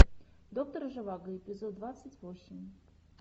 доктор живаго эпизод двадцать восемь